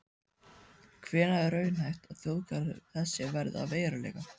Hvenær er raunhæft að þjóðgarður þessi verði að veruleika?